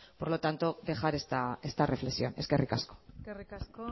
por lo tanto dejar esta reflexión eskerrik asko eskerrik asko